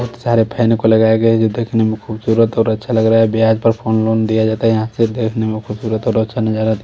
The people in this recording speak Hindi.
बहुत सारे फैन को लगाया गया है जो देखने में खूबसूरत और अच्छा लग रहा है ब्याज पर फोन लोन दिया जाता है यहां से देखने में खूबसूरत और अच्छा नजर आ रही--